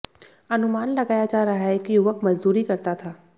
अनुमान लगाया जा रहा है कि युवक मजदूरी करता था